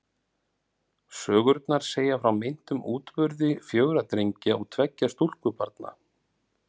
Sögurnar segja frá meintum útburði fjögurra drengja og tveggja stúlkubarna.